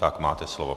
Tak, máte slovo.